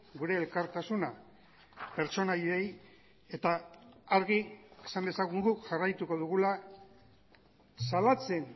gure elkartasuna pertsona haiei eta argi esan dezagun guk jarraituko dugula salatzen